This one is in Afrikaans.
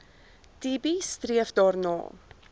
tb streef daarna